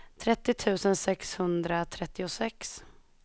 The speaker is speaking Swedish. trettio tusen sexhundratrettiosex